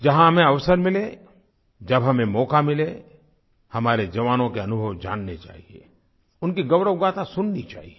जहाँ हमें अवसर मिले जब हमें मौक़ा मिले हमारे जवानों के अनुभव जानने चाहिए उनकी गौरवगाथा सुननी चाहिए